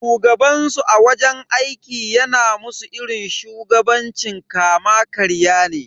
Shugabansu a wajen aiki yana musu irin shugabancin kama karya ne.